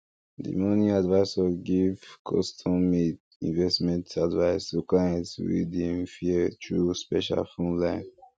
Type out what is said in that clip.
di money advisor give custom made investment advice to clients wey dey fear through special phone line